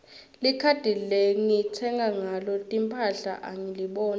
likhadi lengitsenga ngalo timphahla angiliboni